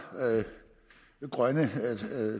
grønne